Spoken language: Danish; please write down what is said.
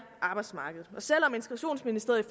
arbejdsmarkedet selv om integrationsministeriet